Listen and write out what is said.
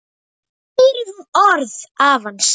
Þá heyrir hún orð afans.